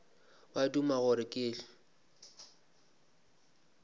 ba duma gore ke hwe